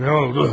Nə oldu?